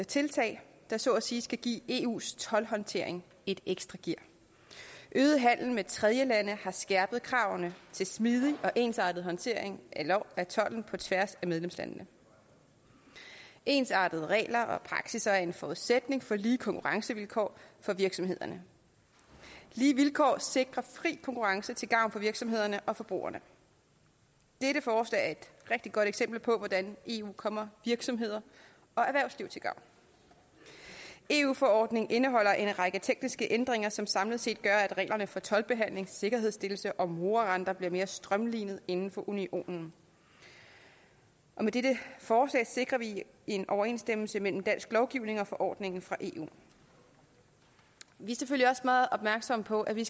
tiltag der så at sige skal give eus toldhåndtering et ekstra gear øget handel med tredjelande har skærpet kravene til smidig og ensartet håndtering af tolden på tværs af medlemslandene ensartede regler og praksis er en forudsætning for lige konkurrencevilkår for virksomhederne lige vilkår sikrer fri konkurrence til gavn for virksomhederne og forbrugerne dette forslag er et rigtig godt eksempel på hvordan eu kommer virksomheder og erhvervsliv til gavn eu forordningen indeholder en række tekniske ændringer som samlet set gør at reglerne for toldbehandling sikkerhedsstillelse og morarenter bliver mere strømlinet inden for unionen og med dette forslag sikrer vi en overensstemmelse mellem dansk lovgivning og forordningen fra eu vi er selvfølgelig også meget opmærksomme på at vi